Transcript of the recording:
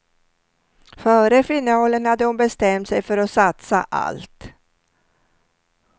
Före finalen hade hon bestämt sig för att satsa allt.